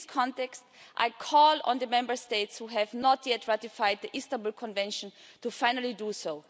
In this context, I call on the Member States who have not yet ratified the Istanbul Convention to finally do so.